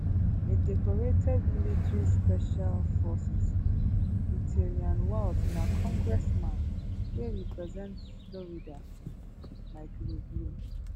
a decorated military special forces veteran waltz na congressman wey represent florida like rubio